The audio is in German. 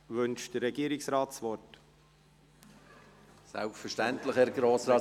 Wünscht der Regierungsrat das Wort?